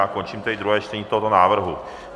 Já končím tedy druhé čtení tohoto návrhu.